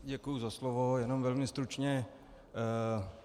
Děkuji za slovo, jenom velmi stručně.